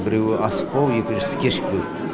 біреуі асықпау екіншісі кешікпеу